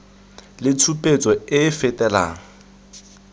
le tshupetso e e fetelang